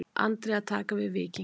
Andri að taka við Víkingi